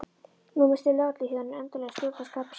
Nú missti lögregluþjónninn endanlega stjórn á skapi sínu.